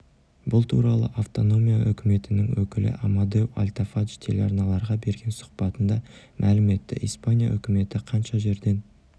бұл туралы автономия үкіметінің өкілі амадеу альтафадж телеарналарға берген сұхбатында мәлім етті испания үкіметі қанша жерден